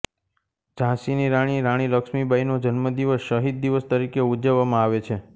ઝાંસીની રાણી રાણી લક્ષ્મીબાઈનો જન્મદિવસ શહીદ દિવસ તરીકે ઉજવવામાં આવે છે